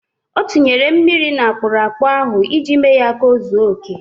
O tinyere mmiri n' akpụrụakpụ ahụ iji mee ya ka o zuo oke.